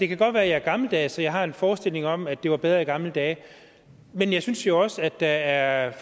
kan godt være at jeg er gammeldags så jeg har en forestilling om at det var bedre i gamle dage men jeg synes jo også at der er